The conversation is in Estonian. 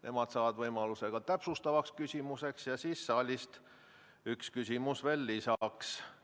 Nemad saavad võimaluse ka täpsustavaks küsimuseks, ja siis saalist üks küsimus veel lisaks.